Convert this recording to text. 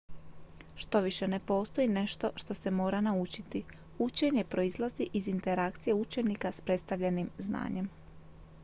štoviše ne postoji nešto što se mora naučiti učenje proizlazi iz interakcije učenika s predstavljenim znanjem